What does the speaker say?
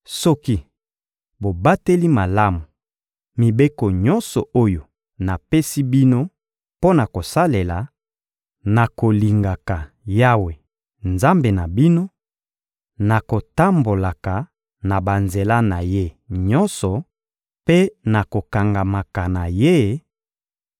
Soki bobateli malamu mibeko nyonso oyo napesi bino mpo na kosalela, na kolingaka Yawe, Nzambe na bino, na kotambolaka na banzela na Ye nyonso mpe na kokangamaka na Ye;